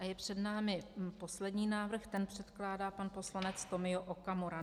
A je před námi poslední návrh, ten předkládá pan poslanec Tomio Okamura.